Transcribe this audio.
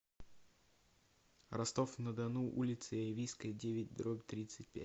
ростов на дону улица яйвинская девять дробь тридцать пять